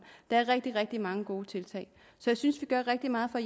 der er rigtig rigtig mange gode tiltag så jeg synes vi gør rigtig meget for